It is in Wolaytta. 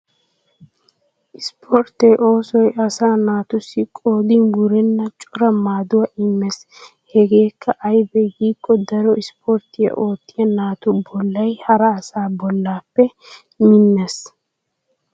Ispportte oosoy asa naatussi qoodin wurenna cora maaduwa immees. Hegeekka aybee giikko daro ispporttiya oottiya naatu bollay hara asa bollaape minnees.